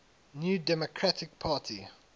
new democratic party